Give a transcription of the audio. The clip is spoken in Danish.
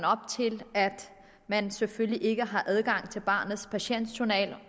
op til at man selvfølgelig ikke har adgang til barnets patientjournal